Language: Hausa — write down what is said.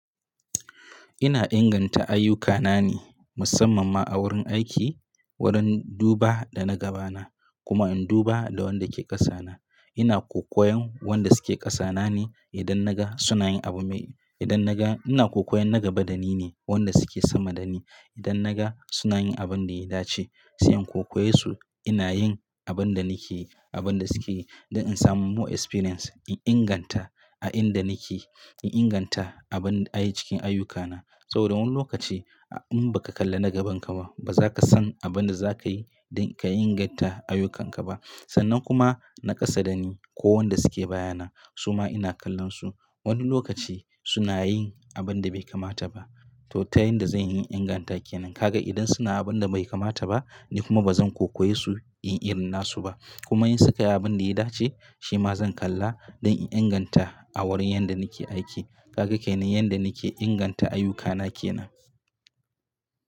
Ina inganta ayyukana ne musamman ma a wurin aiki, wurin duba da na gaba na kuma in duba da wanda ke ƙasa na. Ina kokoyan wanda suke ƙasa na ne idan naga suna yin abu mai, idan naga ina kokoyan na gaba da ni ne wanda suke sama da ni. Idan naga suna yin abin da ya dace, sai in kokoye su. Ina yin abin da nake yi, abin da suke yi don in samu more experience in inganta a inda nake, in inganta abin a yi cikin ayyukana. Saboda wani lokaci in ba ka kalla na gaban ka ba, ba za ka san abin da za ka yi don ka inganta ayyukanka ba. Sannan kuma na ƙasa da ni ko wanda suke baya na, su ma ina kallon su. Wani lokaci suna yin abin da bai kamata ba. To, tayin da zan yi inganta ke nan. Kaga idan suna abin da bai kamata ba ni kuma bazan kokoye su in irina su ba. Kuma in su ka yi abin da ya dace, shi ma zan kalla don in inganta a wurin yanda nake aiki. Kaga kenan yanda nake inganta ayyukana ke nan.